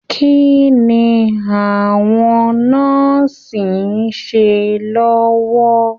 Kínní àwọn nọ́ọ́sí n ṣe lọwọ?